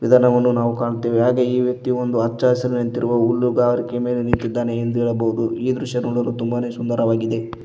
ಇಲ್ಲಿ ಜನವನ್ನು ಕಾಣುತ್ತವೆ ಹಾಗೆ ಈ ವ್ಯಕ್ತಿ ಒಂದು ಹಚ್ಚ ಹಸಿರ ನಿಂತಿರುವ ಹುಲ್ಲುಗಾರಿಕೆ ಮೇಲೆ ನಿಂತಿದ್ದಾನೆ ಎಂದು ಹೇಳಬಹುದು ಈ ದೃಶ್ಯ ನೋಡಲು ತುಂಬಾನೇ ಸುಂದರವಾಗಿದೆ.